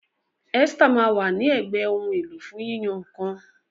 Esther ma wa ni ègbé Ohun èlò fún yíyan nǹkan.